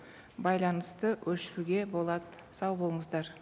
байланысты өшіруге болады сау болыңыздар